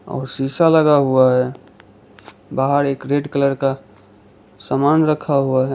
और शीशा लगा हुआ है बाहर एक रेड कलर का सामान रखा हुआ है।